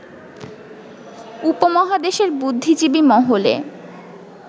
উপমহাদেশের বুদ্ধিজীবী মহলে